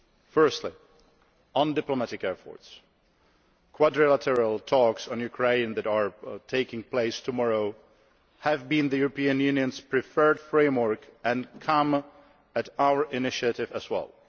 Firstly, on diplomatic efforts quadrilateral talks on Ukraine that are taking place tomorrow have been the European Union's preferred framework and come at our initiative as well.